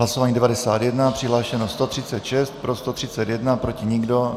Hlasování 91, přihlášeno 136, pro 131, proti nikdo.